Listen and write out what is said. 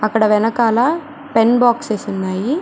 అక్కడ వెనకాల pen boxes ఉన్నాయి.